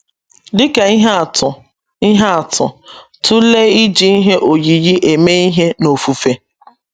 Dị ka ihe atụ, ihe atụ, tụlee iji ihe oyiyi eme ihe n’ofufe.